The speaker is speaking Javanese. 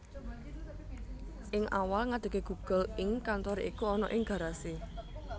Ing awal ngadege Google Inc kantoré iku ana ing Garasi